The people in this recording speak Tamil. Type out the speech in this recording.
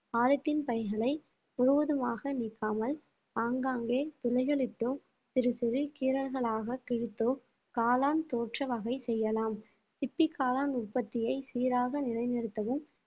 பாலித்தீன் பைகளை முழுவதுமாக நீக்காமல் ஆங்காங்கே துளைகளிட்டும் சிறு சிறு கீறல்களாக கிழித்தோ காளான் தோற்ற வகை செய்யலாம் சிப்பி காளான் உற்பத்தியை சீராக நிலைநிறுத்தவும்